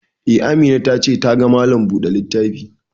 Eh, Amina ta ce ta ka ma Malam buɗe littafi